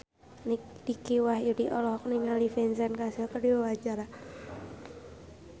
Dicky Wahyudi olohok ningali Vincent Cassel keur diwawancara